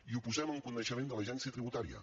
i ho posem en coneixement de l’agència tributària